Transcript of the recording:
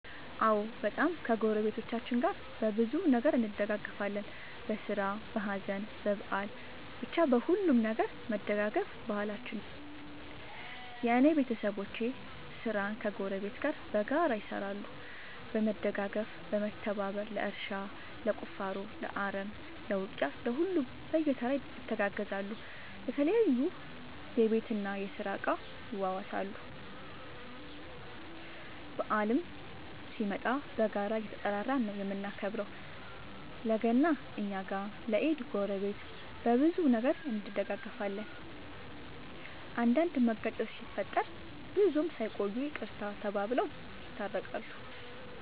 አዎ በጣም ከ ጎረቤቶቻችን ጋር በብዙ ነገር እንደጋገፋለን በስራ በሀዘን በበአል በቻ በሁሉም ነገር መደጋገፍ ባህላችን ነው። የእኔ ቤተሰቦቼ ስራን ከ ጎረቤት ጋር በጋራ ይሰራሉ በመደጋገፍ በመተባበር ለእርሻ ለቁፋሮ ለአረም ለ ውቂያ ለሁሉም በየተራ ይተጋገዛሉ የተለያዩ የቤት እና የስራ እቃ ይዋዋሳሉ። በአልም ሲመጣ በጋራ እየተጠራራን ነው የምናከብረው ለ ገና እኛ ጋ ለ ኢድ ጎረቤት። በብዙ ነገር እንደጋገፋለን። አንዳንድ መጋጨት ሲፈጠር ብዙም ሳይቆዩ ይቅርታ ተባብለው የታረቃሉ።